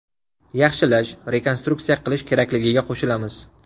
Yaxshilash, rekonstruksiya qilish kerakligiga qo‘shilamiz.